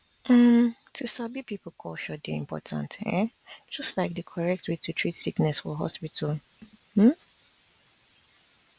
um to sabi people culture dey important um just like di correct way to treat sickness for hospital um